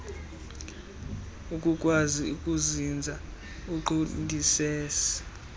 akukwazi kuzinza uqondisise